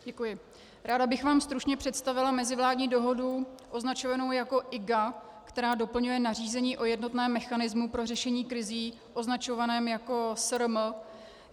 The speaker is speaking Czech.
Ráda bych vám stručně představila mezivládní dohodu označovanou jako IGA, která doplňuje nařízení o jednotném mechanismu pro řešení krizí, označovaném jako SRM.